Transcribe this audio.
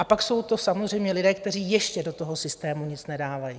A pak jsou to samozřejmě lidé, kteří ještě do toho systému nic nedávají.